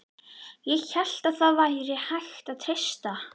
ÉG HÉLT AÐ ÞAÐ VÆRI HÆGT AÐ TREYSTA